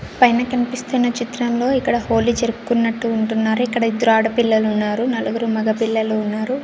పైన కన్పిస్తున్న చిత్రంలో ఇక్కడ హోలీ జరుపుకున్నట్టు ఉంటున్నారు ఇక్కడ ఇద్దరు ఆడపిల్లలు ఉన్నారు నలుగురు మగ పిల్లలు ఉన్నారు.